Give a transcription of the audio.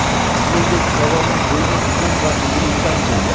Shuningdek, hayvonning bo‘yni uzun va egiluvchan bo‘lgan.